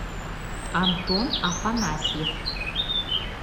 антон афанасьев